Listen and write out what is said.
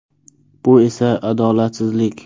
Bu esa adolatsizlik.